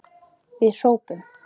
Við hrópum!